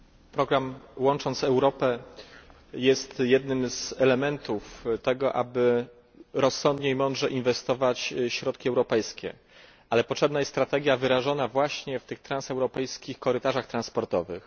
Program Łącząc Europę jest jednym z elementów rozsądnego i mądrego inwestowania środków europejskich. Ale potrzebna jest strategia wyrażona właśnie w tych transeuropejskich korytarzach transportowych.